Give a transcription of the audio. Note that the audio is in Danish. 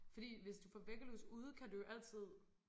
Fordi hvis du får væggelus ude kan du jo altid